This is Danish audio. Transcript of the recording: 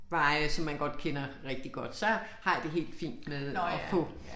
Veje som man godt kender rigtig godt så har jeg det helt fint med at få